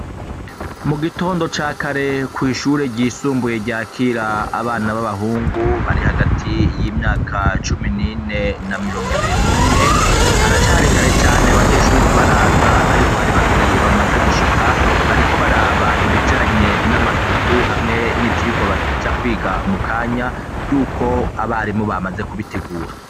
Mu gitondo ca kare kw'ishure ryisumbuye ryakira abana b'abahungu bari hagati y'imyaka cumi n'ine na mirongo ibiri n'umwe haracarikare cane banyeshuri ntibaraza, ariko hari babiri bamaze gushika bariko baraba ibijanye n'amasuku hamwe n'ivyirwa baja kwiga muka anya yuko abaremo bamaze kubitegura.